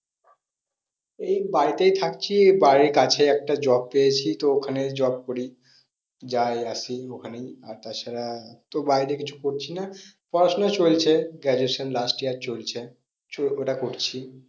এই বাড়িতেই থাকছি বাড়ির কাছে একটা job পেয়েছি তো ওখানে job করি। যাই আসি ওখানেই আর তাছাড়া তো বাইরে কিছু করছি না। পড়াশোনা চলছে graduation last year চলছে। ওটা করছি।